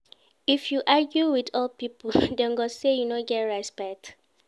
If you argue wit old pipo, dem go sey you no get respect.